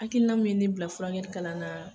Hakilina min ye ne bila furakɛli kalan na